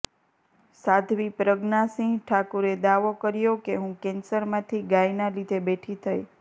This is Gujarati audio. સાધ્વી પ્રજ્ઞા સિંહ ઠાકુરે દાવો કર્યો કે હું કેન્સરમાંથી ગાયના લીધે બેઠી થઇ